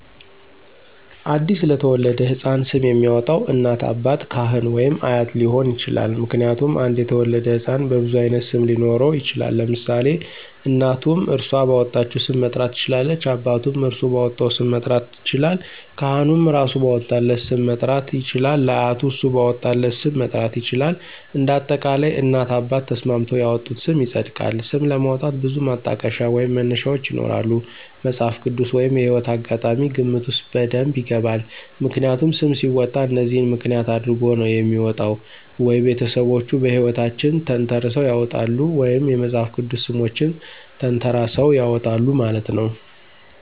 አዲስ ለተወለደው ሕፃን ስም የሚያወጣው እናት፣ አባት፣ ካህን ወይም አያት ሊሆን ይችላል። ምክንያቱም አንድ የተወለደ ህፃን በብዙ አይነት ስም ሊኖረው ይችላል ለምሳሌ እናቱም እራሶ ባወጣቸው ሰም መጥራት ትችላለች አባቱም እራሱ ባወጣው ስም መጥራት ይችላለል ካህኑም እራሱ ባወጣለት ስም መጥራት ይችላል አያቱም እሱ ባወጣለት ስ??? ም መጥራት ይችላል እንደ አጠቃላይ እናት አባት ተስማምተው ያወጡት ስም ይፀድቃል። ስም ለማውጣት ብዙ ማጠቀሻ ወይም መነሻዎች ይኖራሉ መፅሃፍ ቅድስ ወይም የህይወት አጋጣሚ ግምት ውስጥ በደብ ይገባል። ምክንያቱም ሰም ሲወጣ እነዚህን ምክንያት አድረጎ ነው የሚወጣው ወይ ቤተሰቦቹ ሕይወታቸውን ተንተረሰው ያውጣሉ ወይም የመፅሐፍ ቅድስ ሰሞችን ተንተራሰው ያወጣሉ ማለት ነው።